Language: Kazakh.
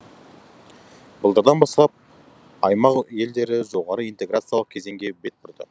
былтырдан бастап аймақ елдері жоғары интеграциялық кезеңге бет бұрды